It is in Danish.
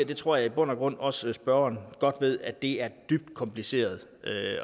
det tror jeg i bund og grund også at spørgeren godt ved at det er dybt kompliceret